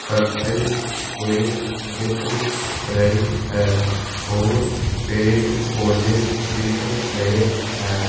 करते हुए दिख रही है और पेड़ पौधे दिख रहे हैं।